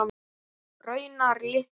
Raunar litlu.